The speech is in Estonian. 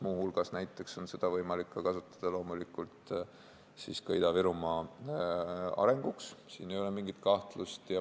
Muu hulgas on neid võimalik kasutada Ida-Virumaa arenguks, siin ei ole mingit kahtlust.